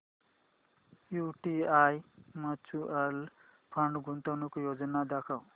UTI mutual fund गुंतवणूक योजना दाखव